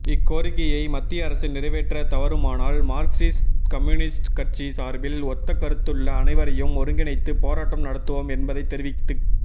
இக்கோரிக்கையை மத்திய அரசு நிறைவேற்ற தவறுமானால் மார்க்சிஸ்ட்கம்யூனிஸ்ட் கட்சி சார்பில் ஒத்த கருத்துள்ள அனைவரையும் ஒருங்கிணைத்து போராட்டம் நடத்துவோம் என்பதைதெரிவித்துக்